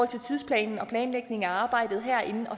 til tidsplanen og planlægningen af arbejdet herinde